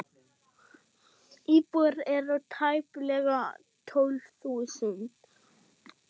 Íbúar eru tæplega tólf þúsund.